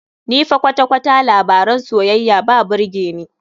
Ni fa kwata-kwata labaran soyayya ba birge ni.